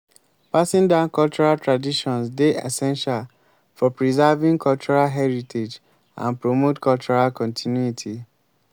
passing down cultural traditions dey essential for preserving cultural heritage and promote cultural continuity.